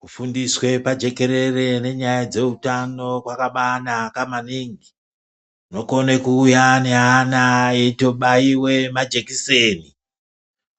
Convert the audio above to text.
Kufundiswe pajekerere nenyaya dzeutana kwakabanaka maningi , munokone kuuya ngeana eitobaiwe majekiseni ,